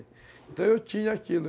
Então eu tinha aquilo.